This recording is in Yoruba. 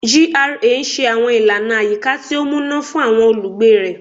GRA n ṣe àwọn ìlànà àyíká tí ó múná fún àwọn olùgbé rẹ